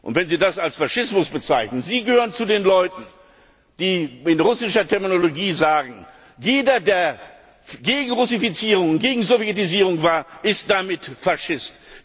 Wenn Sie das als Faschismus bezeichnen Sie gehören zu den Leuten, die in russischer Terminologie sagen, jeder der gegen Russifizierung, gegen Sowjetisierung war, ist damit Faschist.